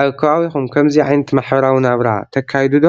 አብ ከባቢኩም ከምዚ ዓይነት ማሕበራዊ ናበራ ተካዩዱ ዶ?